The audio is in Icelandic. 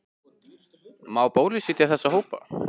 Má bólusetja þessa hópa?